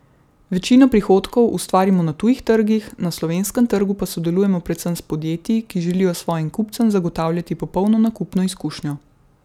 Večino prihodkov ustvarimo na tujih trgih, na slovenskem trgu pa sodelujemo predvsem s podjetji, ki želijo svojim kupcem zagotavljati popolno nakupno izkušnjo.